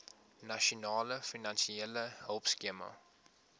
nasionale finansiële hulpskema